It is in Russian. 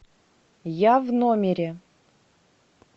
я в номере